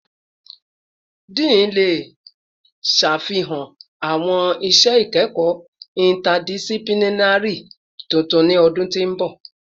Dean le ṣafihan awọn iṣẹ ikẹkọ interdisciplinary tuntun ni ọdun ti n bọ